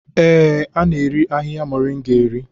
Ee, a na-eri ahihia moringa eri.